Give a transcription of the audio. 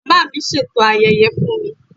Màmá mi ṣètò ayẹyẹ fún mi